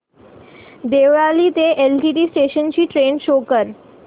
देवळाली ते LTT station ची train show कर